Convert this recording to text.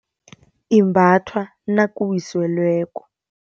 Imbathwa nakuwiselweko.